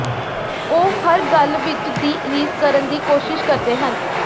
ਉਹ ਹਰ ਗੱਲ ਵਿਚ ਦੀ ਰੀਸ ਕਰਨ ਦੀ ਕੋਸ਼ਿਸ਼ ਕਰਦੇ ਹਨ